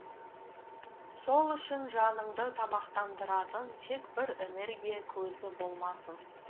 сол үшін жаныңды тамақтандыратын тек бір энергия көзі болмасын